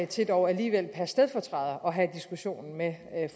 til dog alligevel per stedfortræder at have diskussionen med